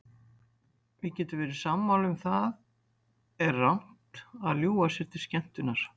Við getum verið sammála um að það er rangt að ljúga sér til skemmtunar.